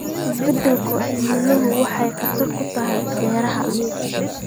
Isbeddelka cimiladu waxay khatar ku tahay beeraha.